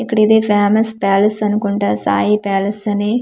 ఇక్కడ ఇదే famous palace అనుకుంటా సాయి ప్యాలస్ అని.